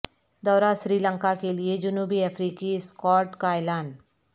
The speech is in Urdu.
دورہ سری لنکا کیلئے جنوبی افریقی اسکواڈ کا اعلان